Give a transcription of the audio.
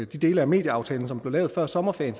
de dele af medieaftalen som blev lavet før sommerferien